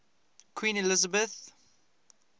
queen elizabeth